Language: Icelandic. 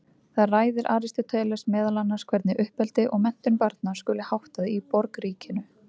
Þar ræðir Aristóteles meðal annars hvernig uppeldi og menntun barna skuli háttað í borgríkinu.